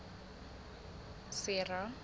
sera